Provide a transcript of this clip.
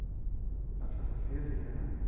আচ্ছা আচ্ছা CSE তে না